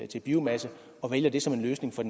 til biomasse og vælger det som en løsning for